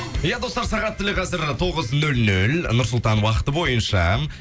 иә достар сағат тілі қазір тоғыз нөл нөл нұрсұлтан уақыты бойынша